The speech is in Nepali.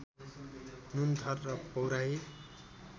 नुनथर र पौराही